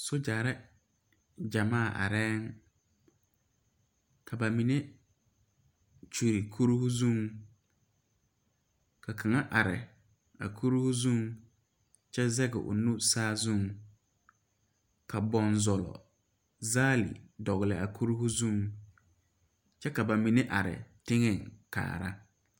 Sogyɛre gyamaa arɛɛŋ ka ba mine kyure kuruu zuŋ ka kaŋa are a kuruu zuŋ kyɛ zege o nu saazuŋ ka bonzɔl zaale dɔgle a kuruu zuŋ kyɛ ka ba mine are teŋɛŋ kaara.